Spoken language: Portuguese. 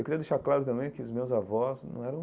Eu queria deixar claro também que os meus avós não eram